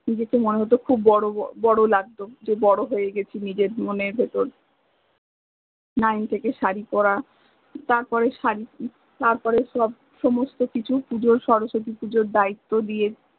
নিজেকে মনে হত খুব বড়, বড় লাগত যে বড় হয়ে গেছি নিজের মনের ভেতর থেকে সারি পরা তারপরে সব সমস্ত কিছু পূজোর শরশতি পূজার দায়িত্ব দিয়ে